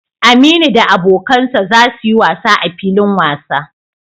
Aminu da abokan sa za su yi wasa a filin wasa.